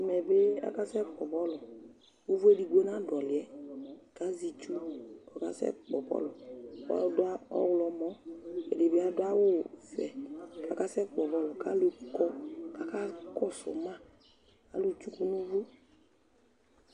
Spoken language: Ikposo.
Ɛmɛ bɩ akasɛkpɔ bɔlʋ Ʋvʋ edigbo nadʋ ɔlʋ yɛ kʋ azɛ itsu kʋ ɔkasɛkpɔ bɔlʋ kʋ adʋ ɔɣlɔmɔ, ɛdɩ bɩ adʋ awʋvɛ kʋ akasɛkpɔ bɔlʋ kʋ alʋ kɔ akakɔsʋ ma Alʋtsuku nʋ ʋvʋ